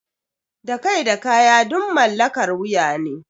Da kai da kaya duk mallakar wuya ne.